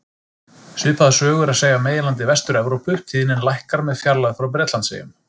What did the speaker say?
Svipaða sögu er að segja af meginlandi Vestur-Evrópu, tíðnin lækkar með fjarlægð frá Bretlandseyjum.